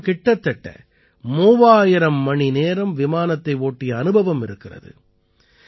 அவரிடம் கிட்டத்தட்ட 3000 மணிநேரம் விமானத்தை ஓட்டிய அனுபவம் இருக்கிறது